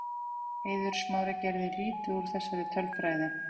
Eiður Smári gerði lítið úr þessari tölfræði.